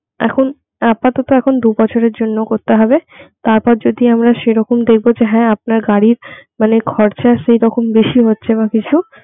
এখন আপাতত এখন দু বছরের জন্য করতে হবে তারপর যদি আমরা সেই রকম দেখবো যে হ্যাঁ আপনার গাড়ির মানে খরচা সেইরকম বেশি হচ্ছে বা কিছু